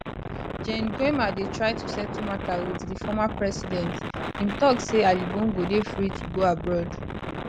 gen nguema dey try to settle mata wit di former president im tok say ali bongo dey free to go abroad